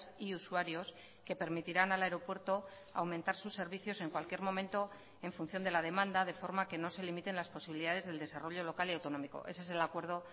y usuarios que permitirán al aeropuerto a aumentar sus servicios en cualquier momento en función de la demanda de forma que no se limiten las posibilidades del desarrollo local y autonómico ese es el acuerdo